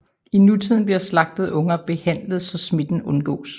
I nutiden bliver slagtede unger behandlet så smitten undgås